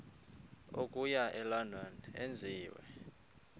okuya elondon enziwe